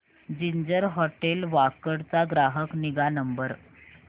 ginger hotel Wakad चा ग्राहक निगा नंबर